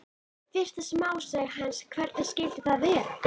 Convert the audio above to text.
Fyrsta smásaga hans, Hvernig skyldi það vera?